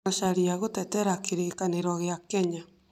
Macharia gũtetera kĩrĩkanĩro kĩa Kenya